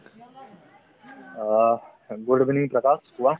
অ, good evening Pratap কোৱা